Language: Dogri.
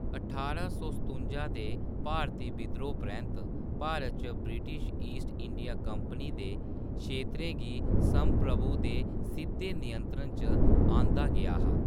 ठारां सौ सतुंजा दे भारती विद्रोह् परैंत्त, भारत च ब्रिटिश ईस्ट इंडिया कंपनी दे क्षेत्रें गी संप्रभु दे सिद्धे नियंत्रण च आंह्‌दा गेआ हा।